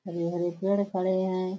हरे हरे पेड़ खड़े हैं।